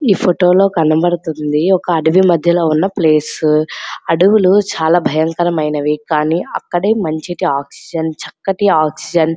ఈ ఫొటోలో కనబడుతున్నది ఒక అడవి మధ్యలో ఉన్న ప్లేస్ అడివిలు చాలా భయకరమైన కానీ అక్కడే మనిషికి ఆక్సిజన్ చక్కటి ఆక్సిజన్ .